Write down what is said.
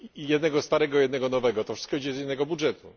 jednego starego i jednego nowego to wszystko idzie z jednego budżetu.